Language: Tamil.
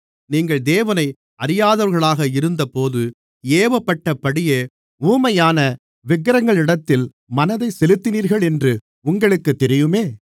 நீங்கள் தேவனை அறியாதவர்களாக இருந்தபோது ஏவப்பட்டபடியே ஊமையான விக்கிரகங்களிடத்தில் மனதைச் செலுத்தினீர்களென்று உங்களுக்குத் தெரியுமே